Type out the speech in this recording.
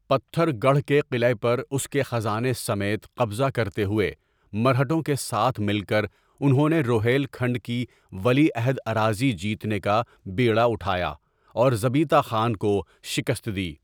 پتھر گڑھ کے قلعے پر اس کے خزانے سمیت قبضہ کرتے ہوئے، مرہٹوں کے ساتھ مل کر، انہوں نے روہیل کھنڈ کی ولی عہد اراضی جیتنے کا بیڑا اٹھایا اور زبیتا خان کو شکست دی۔